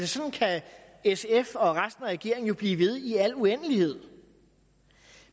sådan kan sf og resten af regeringen blive ved i al uendelighed